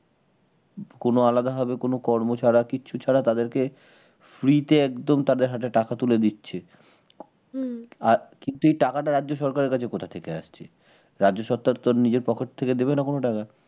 কোন আলাদাভাবে কোন কর্ম ছাড়া কিছু ছাড়া তাদেরকে free তে একদম তাদের হাতে টাকা তুলে দিচ্ছে । হম তো সেই টাকাটা রাজ্য সরকারের কাছে কোথা থেকে আসছে? রাজ্য সরকার তো নিজের pocket থেকে দেবে না কোন টাকা